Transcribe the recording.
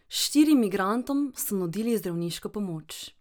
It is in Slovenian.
Štirim migrantom so nudili zdravniško pomoč.